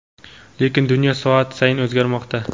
Lekin dunyo soat sayin o‘zgarmoqda.